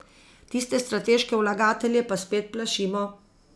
Tiste strateške vlagatelje pa spet plašimo.